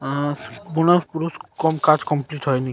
আ- পুন পুরুষ কম কাজ কমপ্লিট হয়নি।